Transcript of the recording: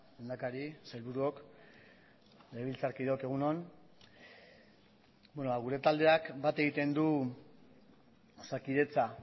lehendakari sailburuok legebiltzarkideok egun on gure taldeak bat egiten du osakidetza